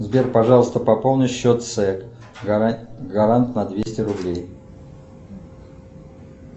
сбер пожалуйста пополни счет це гарант на двести рублей